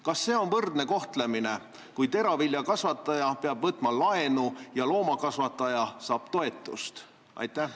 Kas see on võrdne kohtlemine, kui teraviljakasvataja peab võtma laenu, aga loomakasvataja saab toetust?